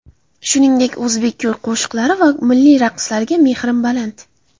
Shuningdek, o‘zbek kuy-qo‘shiqlari va milliy raqslariga mehrim baland.